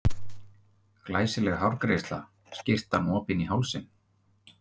Glæsileg hárgreiðsla, skyrtan opin í hálsinn.